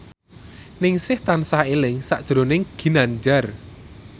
Ningsih tansah eling sakjroning Ginanjar